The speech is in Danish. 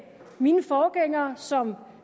mine forgængere som